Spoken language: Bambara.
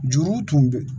Juru tun bɛ